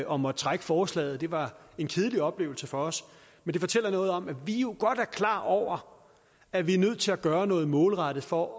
og måtte trække forslaget det var en kedelig oplevelse for os men det fortæller noget om at vi jo godt er klar over at vi er nødt til at gøre noget målrettet for